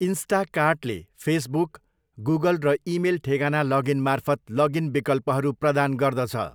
इन्स्टाकार्टले Facebook, Google र email ठेगाना लगइनमार्फत लगइन विकल्पहरू प्रदान गर्दछ।